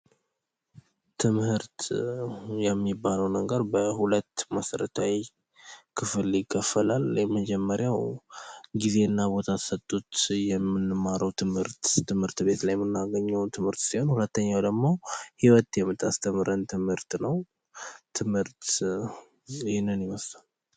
ትምህርት የሚባለው ነገር በሁለት መሰረታዊ ነገሮች ይከፈላል የመጀመሪያው ጊዜና ቦታ ተሰጥቶት የምንማረው ትምህርት ፤ ትምህርት ቤት ላይ የምናገኘው ትምህርት ሲሆን ፡ ሁለተኛው ደግሞ ህይወት የምታስተምረን ትምህርት ነው። ትምህርት ይህን ይመስላል።